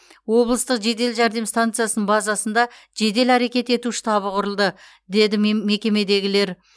облыстық жедел жәрдем стансасының базасында жедел әрекет ету штабы құрылды деді мекемедегілер